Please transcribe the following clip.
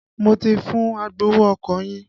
Mo ti fún agbowó ọkọ̀ yín.